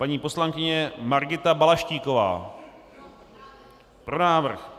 Paní poslankyně Margita Balaštíková: Pro návrh.